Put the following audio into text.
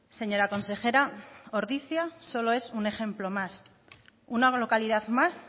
señora consejera ordizia solo es un ejemplo más una localidad más